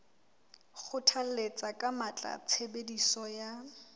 kgothalletsa ka matla tshebediso ya